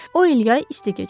O il yay isti keçirdi.